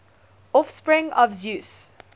offspring of zeus